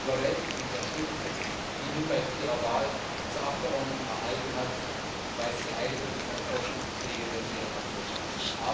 Die überwältigende Unterstützung, die sie nun bei ihrer Wahl zur Abgeordneten erhalten hat, weist sie eindeutig als Hoffnungsträgerin ihrer Nation aus.